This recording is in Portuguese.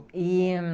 E